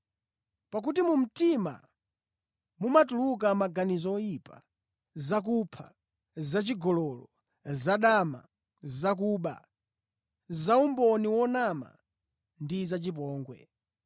Pakuti mu mtima mumatuluka maganizo oyipa, zakupha, zachigololo, zadama, zakuba, zaumboni wonama ndi zachipongwe.